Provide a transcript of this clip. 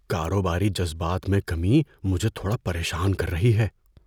کاروباری جذبات میں کمی مجھے تھوڑا پریشان کر رہی ہے۔